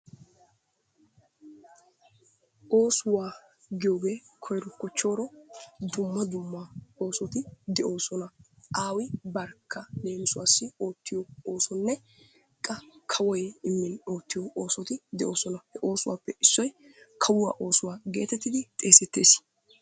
Oosuwa giyoogee koyro kochooro dumma dumma oosoti de'oosona. aawu barkka leemmissuwaassi oottiyo oosonne qa kawoy ootiyo oosoti de'oosona. ha oosuwappe issoy kawuwaa oosuwaa geetettidi xeesetees.